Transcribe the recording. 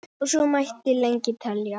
Og svo mætti lengi telja.